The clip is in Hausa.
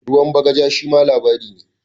"Ruwan bagaja" shima labari ne.